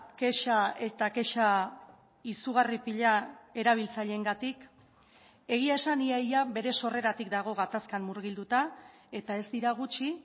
kexa eta kexa izugarri pila erabiltzaileengatik egia esan ia ia bere sorreratik dago gatazkan murgilduta eta ez dira gutxi